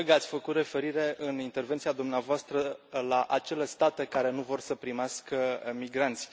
Stimată colegă, ați făcut referire, în intervenția dumneavoastră, la acele state care nu vor să primească migranți.